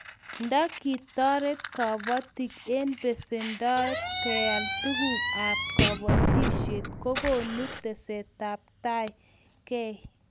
Nda kitoret kabatik eng pesendoab keal tuguk ab kabatishet kokonu tesetetaitab kei